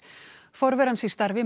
forveri hans í starfi